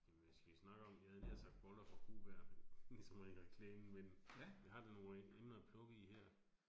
Ja, men hvad skal vi snakke om, jeg havde nær sagt boller fra Kohberg ligesom i reklamen, men vi har da nogle emner at plukke i her